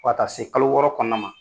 Fo ka taa se kalo wɔɔrɔ kɔnɔna ma.